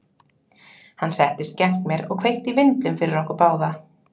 Hann settist gegnt mér og kveikti í vindlum fyrir okkur báða.